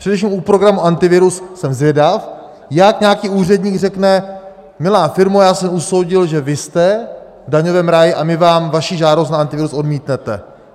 Především u programu Antivirus jsem zvědav, jak nějaký úředník řekne: milá firmo, já jsem usoudil, že vy jste v daňovém ráji, a my vám vaši žádost na Antivirus odmítneme.